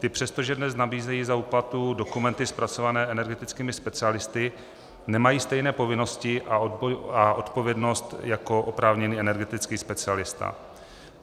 Ty, přestože dnes nabízejí za úplatu dokumenty zpracované energetickými specialisty, nemají stejné povinnosti a odpovědnost jako oprávněný energetický specialista.